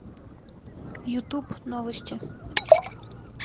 ютуб новости